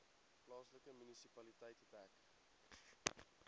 plaaslike munisipaliteit dek